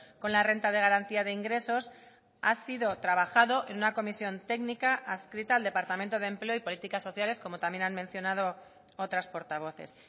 con la renta de garantía de ingresos ha sido trabajado en una comisión técnica adscrita al departamento de empleo y políticas sociales como también han mencionado otras portavoces